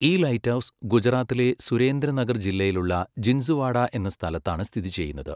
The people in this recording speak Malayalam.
ഈ ലൈറ്റ് ഹൗസ് ഗുജറാത്തിലെ സുരേന്ദ്ര നഗർ ജില്ലയിലുള്ള ജിൻത്സുവാഡ എന്ന സ്ഥലത്താണ് സ്ഥിതി ചെയ്യുന്നത്.